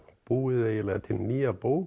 búið eiginlega til nýja bók